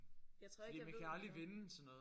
Jeg tror ikke jeg ved